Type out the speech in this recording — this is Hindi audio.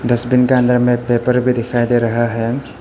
डस्टबिन के अंदर में पेपर भी दिखाई दे रहा है।